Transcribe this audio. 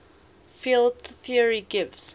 field theory gives